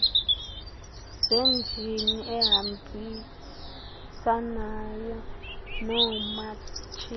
zenjini ehambisanayo noomatshini